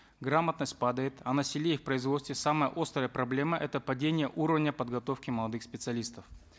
грамотность падает а на селе и в производстве самая острая проблема это падение уровня подготовки молодых специалистов